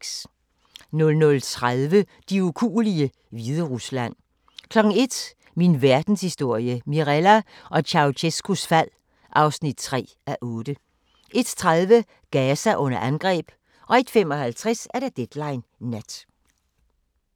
00:30: De ukuelige – Hviderusland 01:00: Min Verdenshistorie – Mirella og Ceaucescaus fald (3:8) 01:30: Gaza under angreb 01:55: Deadline Nat